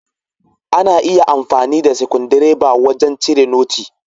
Ana iya amfani da sikundireba wajan cire noti.